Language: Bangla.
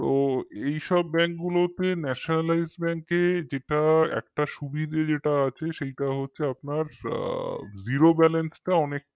তো সব bank গুলোতে nationalized bank এ যেটা একটা সুবিধা যেটা আছে সেটা হচ্ছে আপনার zero balance টা অনেক